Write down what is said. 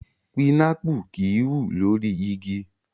Pinápù kì í wù lórí igi.